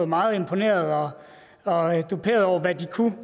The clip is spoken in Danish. meget imponeret af og duperet over hvad de kunne